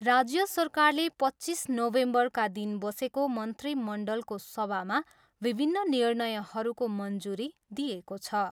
राज्य सरकारले पच्चिस नोभेम्बरका दिन बसेको मन्त्रीमण्डलको सभामा विभिन्न निर्णयहरूको मञ्जुरी दिएको छ।